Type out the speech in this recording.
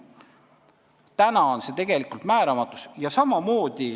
Täna on meil tegelikult määramatus.